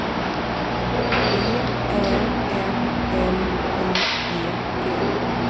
V Ä N L I G T